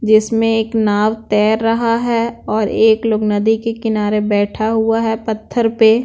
जिसमें एक नाव तैर रहा है और एक लोग नदी के किनारे बैठा हुआ है पत्थर पे--